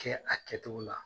Kɛ a kɛcogo la